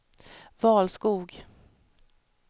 Valskog